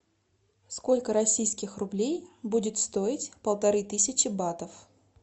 сколько российских рублей будет стоить полторы тысячи батов